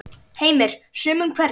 Heimir: Sumum hverjum?